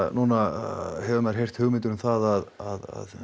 núna hefur maður heyrt hugmyndir um það að